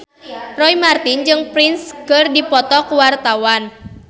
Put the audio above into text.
Roy Marten jeung Prince keur dipoto ku wartawan